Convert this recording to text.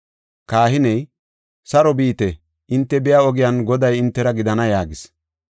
Kahiney, “Saro biite; hinte biya ogiyan Goday hintera gidana” yaagis.